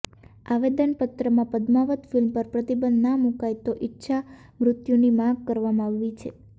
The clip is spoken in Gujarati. આવેદનપત્રમાં પદ્માવત ફિલ્મ પર પ્રતિબંધ ના મૂકાય તો ઇચ્છામૃત્યુની માગ કરવામાં આવી છે